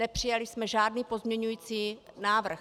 Nepřijali jsme žádný pozměňující návrh.